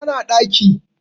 tana ɗaki